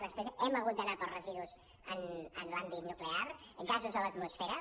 després hem hagut d’anar pels residus en l’àmbit nuclear gasos a l’atmosfera